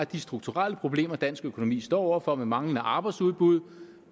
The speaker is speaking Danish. de strukturelle problemer dansk økonomi står over for med manglende arbejdsudbud